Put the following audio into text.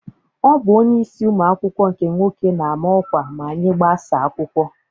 Ọ bụ onyeisi ụmụ akwụkwọ nke nwoke na-ama ọkwa ma anyị gbasaa akwụkwọ.